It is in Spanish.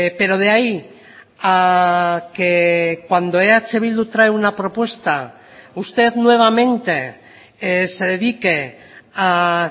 pero de ahí a que cuando eh bildu trae una propuesta usted nuevamente se dedique a